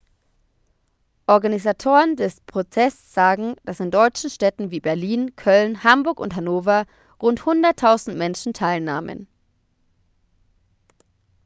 organisatoren des protests sagten dass in deutschen städten wie berlin köln hamburg und hannover rund 100.000 menschen teilnahmen